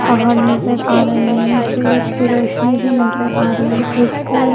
पहाड़ नजर आ रहे हैं सूरज की रोशनी भी नजर आ रही है एक पूल --